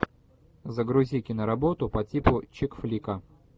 загрузи киноработу по типу чикфлика